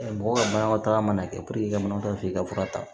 Mɔgɔw ka manamataga mana kɛ i ka banakɔtaa i ka fura ta